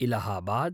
Allahabad